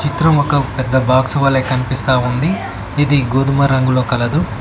చిత్రం ఒక పెద్ద బాక్స్ వలె కనిపిస్తా ఉంది ఇది గోధుమ రంగులో కలదు.